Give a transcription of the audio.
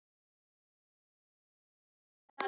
Ögri, læstu útidyrunum.